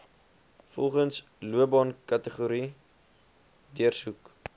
volgens loopbaankategorie deursoek